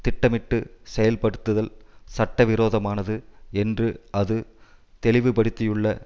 திட்டமிட்டு செயல்படுத்துதல் சட்டவிரோதமானது என்று அது தெளிவுபடுத்தியுள்ள